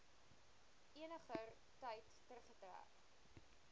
eniger tyd teruggetrek